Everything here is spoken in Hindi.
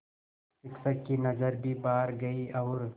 शिक्षक की नज़र भी बाहर गई और